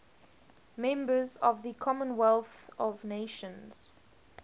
members of the commonwealth of nations